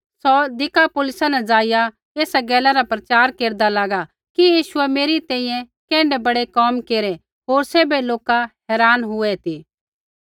सौ दिकापुलिसा न ज़ाइआ एसा गैला रा प्रचार केरदा लागा कि यीशुऐ मेरी तैंईंयैं कैण्ढै बड़ै कोम केरै होर सैभै लोका हैरान हुऐ ती